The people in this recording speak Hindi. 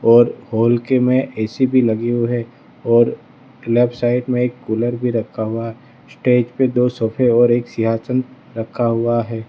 और हॉल के में ए_सी भी लगी हुई है और लेफ्ट साइड में एक कूलर भी रखा हुआ है स्टेज पे दो सोफे और एक सिंहासन रखा हुआ है।